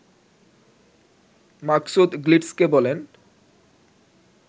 মাকসুদ গ্লিটজকে বলেন